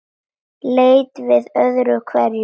Leit við öðru hverju.